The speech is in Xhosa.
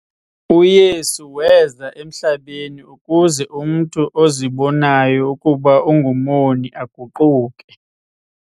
UYesu weza emhlabeni ukuze umntu ozibonayo ukuba ungumoni aguquke.